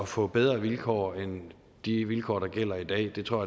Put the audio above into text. få bedre vilkår end de vilkår der gælder i dag det tror